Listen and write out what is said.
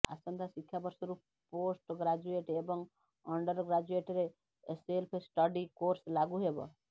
ଆସନ୍ତା ଶିକ୍ଷାବର୍ଷରୁ post graduate ଏବଂ ଅଣ୍ଡର୍ ଗ୍ରାଜୁଏଟରେ ସେଲ୍ଫ ଷ୍ଟଡି କୋର୍ସ ଲାଗୁ ହେବ